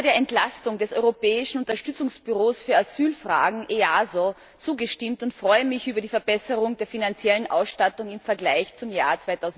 Ich habe der Entlastung des Europäischen Unterstützungsbüros für Asylfragen EASO zugestimmt und freue mich über die Verbesserung der finanziellen Ausstattung im Vergleich zum Jahr